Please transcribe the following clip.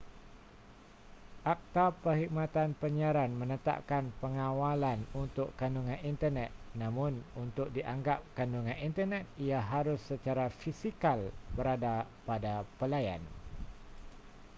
akta perkhidmatan penyiaran menetapkan pengawalan untuk kandungan internet namun untuk dianggap kandungan internet ia harus secara fisikal berada pada pelayan